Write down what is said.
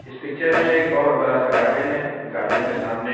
इस पिक्चर में बहुत बड़ा-सा गार्डन है गार्डन के सामने--